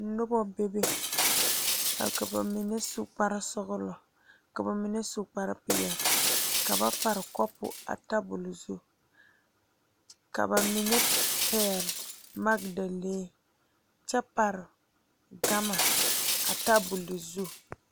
Noba bebe ka bamine a su kpare sɔglɔ ka bamine su kpare peɛle ka ba pare kapu a tabol zu ka bamine pegle magdalee kyɛ pare gama a tabol zu.